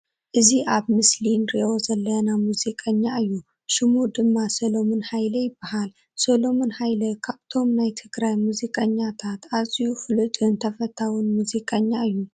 እዚ ኣብዚ ምስሊ እንርእዮ ዘለና ሙዚቀኛ እዩ። ሽሙ ድማ ሰለሙን ሃይለ ይባሃለ። ሰሎምን ሃይለ ካብቶም ናይ ትግራይ ሙዚቀኛታት ኣዝዩ ፍሉጥት ተሰታውን ሙዚቀኛ እዩ።